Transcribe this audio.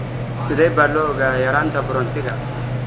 Sidee baa loo ogaadaa yaraanta borotiinka?